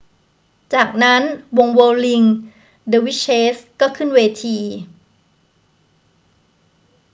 จากนั้นวงเวิร์ลลิง เดอร์วิชเชส ก็ขึ้นเวที